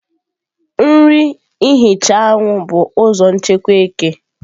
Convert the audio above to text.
nri ihicha anwụ bụ ụzọ nchekwa eke.